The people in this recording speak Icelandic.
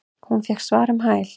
Hún fékk svar um hæl.